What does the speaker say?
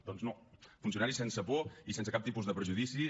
doncs no funcionaris sense por i sense cap tipus de prejudicis